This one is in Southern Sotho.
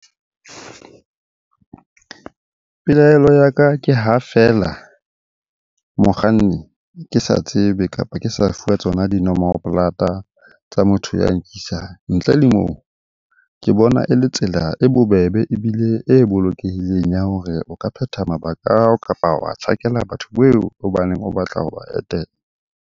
Pelaelo ya ka ke ha feela mokganni ke sa tsebe, kapa ke sa fuwa tsona dinomoro tsa motho ya nkisang. Ntle le moo, ke bona e le tsela e bobebe ebile e bolokehileng ya hore o ka phetha mabaka a hao, kapa wa tjhakela batho o baneng o batla ho ba etela.